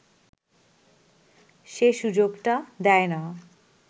সে সুযোগটা দেয় না